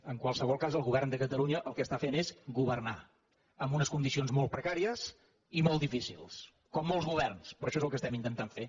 en qualsevol cas el govern de catalunya el que està fent és governar amb unes condicions molt precàries i molt difícils com molts governs però això és el que estem intentant fer